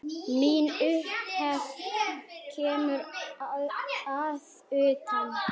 Mín upphefð kemur að utan.